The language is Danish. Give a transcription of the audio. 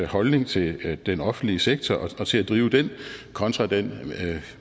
holdning til den offentlige sektor og til at drive den kontra den